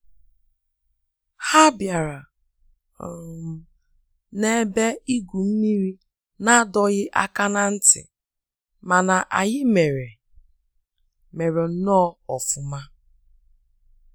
Ha bịara um na ebe igwu mmiri n'adọghị aka na ntị, mana anyị mere mere nnọọ ọfụma